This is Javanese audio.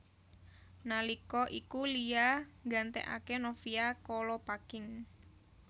Nalika iku Lia nggantekaké Novia Kolopaking